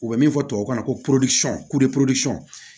U bɛ min fɔ tubabu kan na ko